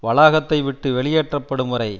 வளாகத்தை விட்டு வெளியேற்றப்படும் வரை